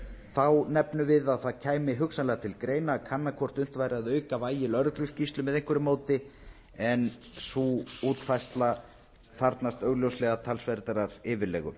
þá nefnum við að það kæmi hugsanlega til greina að kanna hvort unnt væri að auka vægi lögregluskýrslu með einhverju móti en sú útfærsla þarfnast augljóslega talsverðrar yfirlegu